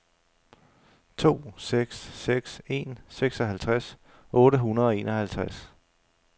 to seks seks en seksoghalvtreds otte hundrede og enoghalvtreds